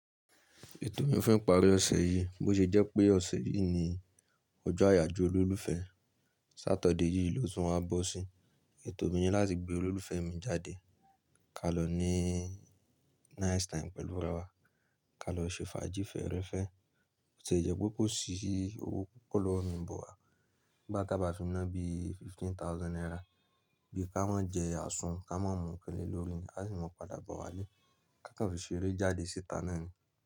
Ètò mi fún ìparí ọ̀sẹ̀ yìí, bó ṣe jẹ́ pé ọ̀sẹ̀ yìí ni ọjọ́ àyájọ́ olólùfẹ́. Sátọ̀dẹ́ yìí ló tún a bọ́ sí, ètò mi ni láti gbé olólùfẹ́ mi jáde, ka lọ ní nice time pẹ̀lú arawa, ka lọ ṣe fàájì fẹ́ẹ́rẹ́fẹ́. Bó tie jẹ́ pé kò sí owó púpọ̀ lọ́wọ́ mi but, ìgbà tá bá fi náà bí fifteen thousand naira, bí ka mi jẹ àsun, ka má mú òkèlè olómi, à sì máa padà bọ̀ wá lé, ká kan fi ṣeré jáde síta náà ni.